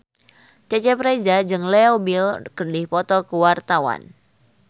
Cecep Reza jeung Leo Bill keur dipoto ku wartawan